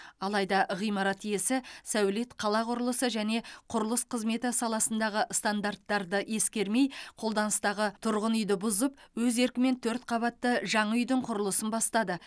алайда ғимарат иесі сәулет қала құрылысы және құрылыс қызметі саласындағы стандарттарды ескермей қолданыстағы тұрғын үйді бұзып өз еркімен төрт қабатты жаңа үйдің құрылысын бастады